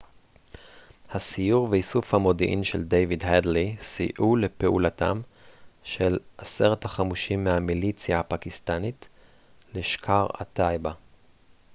הסיור ואיסוף המודיעין של דיוויד הדלי סייעו לפעולתם של 10 החמושים מהמיליציה הפקיסטנית לשקאר-א-טייבה